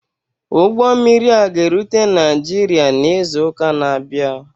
Ụgbọ mmiri a ga-erute Naijiria n'izu ụka na-abịa.